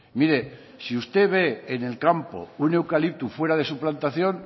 mire si usted ve en el campo un eucalipto fuera de su plantación